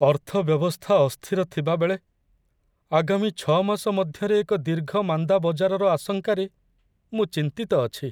ଅର୍ଥ ବ୍ୟବସ୍ଥା ଅସ୍ଥିର ଥିବାବେଳେ, ଆଗାମୀ ୬ ମାସ ମଧ୍ୟରେ ଏକ ଦୀର୍ଘ ମାନ୍ଦା ବଜାରର ଆଶଙ୍କାରେ ମୁଁ ଚିନ୍ତିତ ଅଛି।